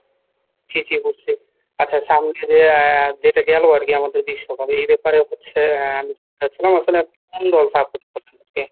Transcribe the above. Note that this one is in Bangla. জি জি বুঝছি, আচ্ছা সামনে যে আহ যেটা গেল আর কি আমাদের বিশ্বকাপ এই ব্যাপারে হচ্ছে আহ আসলে আপনি কোন দল support করেন আর কি?